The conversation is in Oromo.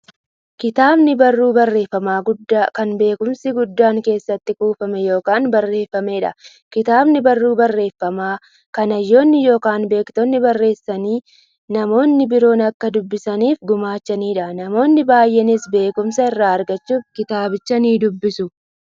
Kitaabni barruu barreeffamaa guddaa, kan beekumsi guddaan keessatti kuufame yookiin barreefameedha. Kitaabni barruu barreeffamaa, kan hayyoonni yookiin beektonni barreessanii, namni biroo akka dubbisaniif gumaachaniidha. Namoonni baay'eenis beekumsa irraa argachuuf kitaabicha nidubbisu.